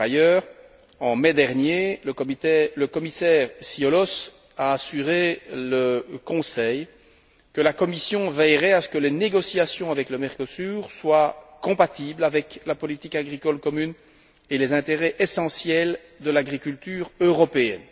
Par ailleurs, en mai dernier, le commissaire Cioloş a assuré le Conseil que la Commission veillerait à ce que les négociations avec le Mercosur soient compatibles avec la politique agricole commune et les intérêts essentiels de l'agriculture européenne.